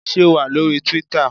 Ṣé o wà lóri Twíítà?